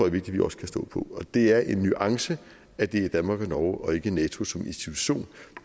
at vi også kan stå på og det er en nuance at det er danmark og norge og ikke nato som institution